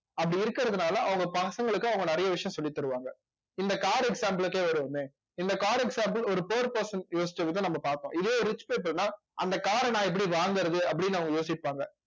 அப்படி இருக்கிறதுனால அவங்க பசங்களுக்கு அவங்க நிறைய விஷயம் சொல்லித் தருவாங்க இந்த car example க்கே வருவோமே இந்த car example ஒரு poor person யோசிச்சதை நம்ம பார்த்தோம் இதே rich person ன்னா அந்த car அ நான் எப்படி வாங்கறது அப்படின்னு அவங்க யோசிப்பாங்க